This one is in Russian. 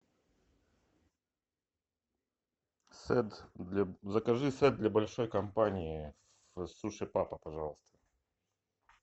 сет закажи сет для большой компании суши папа пожалуйста